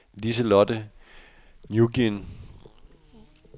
Liselotte Nguyen